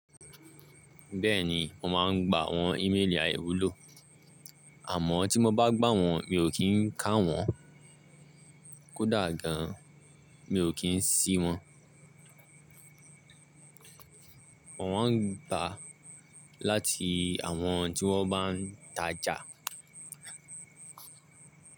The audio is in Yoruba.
Bẹ́ẹ̀ni, mo máà ń gba àwọn íméèlì àìwúlò. Àmọ́ tí mo bá gbà wọ́n mi ò kí ń kà wọ́n, kódà gan mi ò kí ń ṣí wọ́n. Wọ́n máa ń gba láti àwọn tí wọ́n bá n tajà.